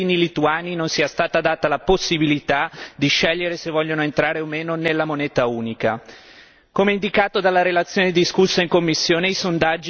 Piuttosto sono veramente preoccupato dal fatto che ai cittadini lituani non sia stata data la possibilità di scegliere se vogliono entrare o meno nella moneta unica.